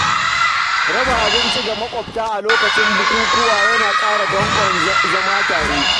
Raba abinci ga makwabta a lokutan bukukkuwa yana ƙara danƙon zaman tare.